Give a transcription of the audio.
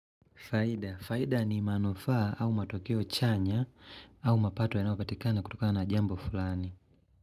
Faida. Faida ni manufaa au matokeo chanya au mapato ya nayopatikana kutoka na jambo fulani.